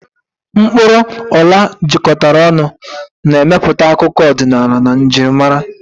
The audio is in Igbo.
Mkpuru ola jikọtara ọnụ, na-emepụta akụkọ ọdịnala na njirimara.